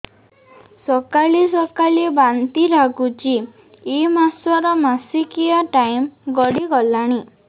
ସକାଳେ ସକାଳେ ବାନ୍ତି ଲାଗୁଚି ଏଇ ମାସ ର ମାସିକିଆ ଟାଇମ ଗଡ଼ି ଗଲାଣି